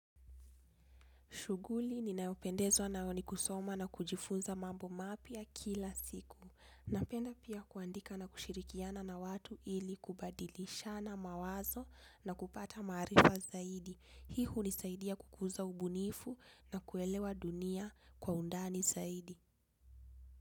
Shughuli, ninayopendezwa nayo ni kusoma na kujifunza mambo mapya kila siku. Napenda pia kuandika na kushirikiana na watu ili kubadilishana mawazo na kupata maarifa zaidi. Hii hunisaidia kukuza ubunifu na kuelewa dunia kwa undani zaidi.